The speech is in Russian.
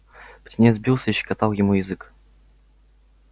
птенец бился и щекотал ему язык